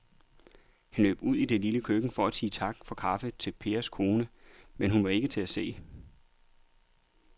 Han løb ud i det lille køkken for at sige tak for kaffe til Pers kone, men hun var ikke til at se.